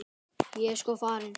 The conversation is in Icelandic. Ég er sko farin.